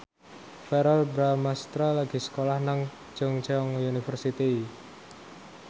Verrell Bramastra lagi sekolah nang Chungceong University